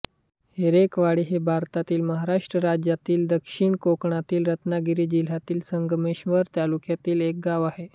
हरेकरवाडी हे भारतातील महाराष्ट्र राज्यातील दक्षिण कोकणातील रत्नागिरी जिल्ह्यातील संगमेश्वर तालुक्यातील एक गाव आहे